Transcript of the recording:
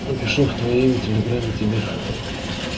напишу в твоим телеграмме тебе